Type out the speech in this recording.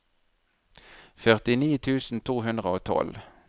førtini tusen to hundre og tolv